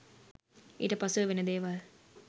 ඊට පසුව වෙන දේවල්